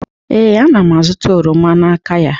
ee, ana m azụta oroma n'aka ya